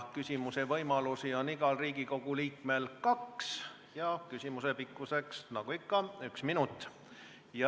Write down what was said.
Küsimise võimalusi on igal Riigikogu liikmel kaks ja küsimuse pikkus on nagu ikka üks minut.